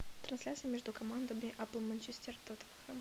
трансляция между командами апл манчестер тоттенхэм